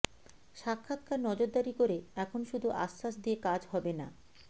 সা ক্ষা ৎ কা র নজরদারি করে এখন শুধু আশ্বাস দিয়ে কাজ হবে না